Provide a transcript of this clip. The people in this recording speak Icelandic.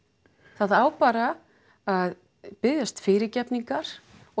það á bara að biðjast fyrirgefningar og